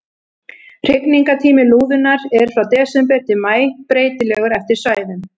Hrygningartími lúðunnar er frá desember til maí, breytilegur eftir svæðum.